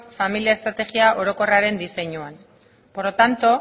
familia estrategia orokorraren diseinuan por lo tanto